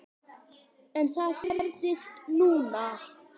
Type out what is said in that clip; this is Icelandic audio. En það gerðist núna.